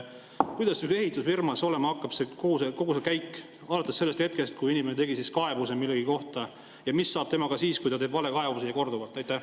Kuidas näiteks ehitusfirmas olema hakkab kogu see käik alates sellest hetkest, kui inimene tegi kaebuse millegi kohta, ja mis saab temast siis, kui ta teeb valekaebuse ja korduvalt?